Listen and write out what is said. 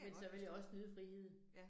Men så vil jeg også nyde friheden